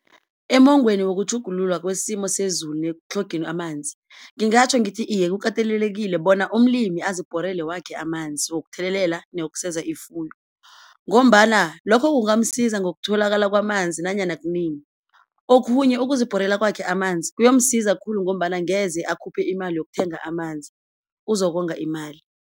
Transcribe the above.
Emongweni wokutjhugululwa kwesimo sezulu nekutlhogeni amanzi. Ngingatjho ngithi iye kukatelelekile bona umlimi azibhorele wakhe amanzi wokuthelelela newokuseza ifuyo, ngombana lokho kungamsiza ngokutholakala kwamanzi nanyana kunini. Okhunye ukuzibhorela kwakhe amanzi kuyomsiza khulu ngombana angeze akhuphe imali yokuthenga amanzi uzokonga imali.